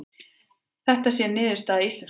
Þetta sé niðurstaða íslensku þjóðarinnar